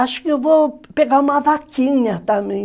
Acho que eu vou pegar uma vaquinha também.